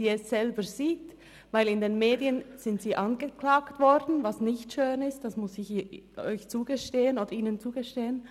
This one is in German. In den Medien sind sie angeklagt worden, was nicht schön ist, das muss ich ihnen zugestehen.